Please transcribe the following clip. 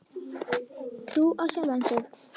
Trú á sjálfan sig.